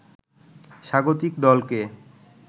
স্বাগতিক দলকে